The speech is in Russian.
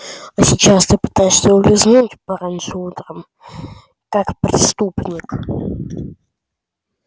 а сейчас ты пытаешься улизнуть пораньше утром как преступник